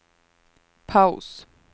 paus